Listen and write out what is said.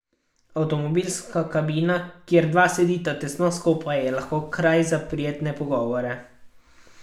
Avtomobilska kabina, kjer dva sedita tesno skupaj, je lahko kraj za prijetne pogovore.